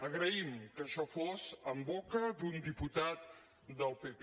agraïm que això fos en boca d’un diputat del pp